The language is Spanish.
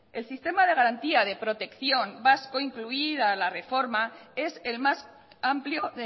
el sistema de garantía de protección vasco incluida la reforma es el más amplio